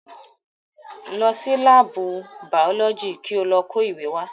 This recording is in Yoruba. Lọ sí láàbù bàọ́lọ́jì ko lọ kó ìwé wá.